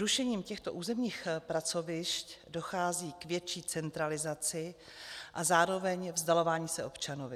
Rušením těchto územních pracovišť dochází k větší centralizaci a zároveň vzdalování se občanovi.